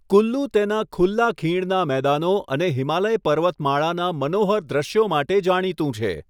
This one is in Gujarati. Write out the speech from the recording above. કુલ્લુ તેના ખુલ્લા ખીણના મેદાનો અને હિમાલય પર્વતમાળાનાં મનોહર દૃશ્યો માટે જાણીતું છે.